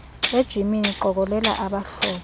ejimini qokolela abahlobo